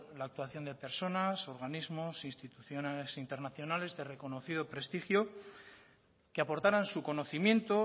la actuación de personas organismos instituciones internacionales de reconocido prestigio que aportaran su conocimiento